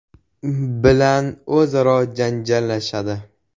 bilan o‘zaro janjallashadi.